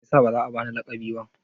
Me yasa ba za a ba ni laƙabi ba?